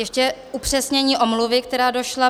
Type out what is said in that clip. Ještě upřesnění omluvy, která došla.